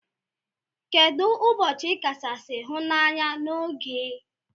Kedu ubochi ikachasi hu na anya na ogee?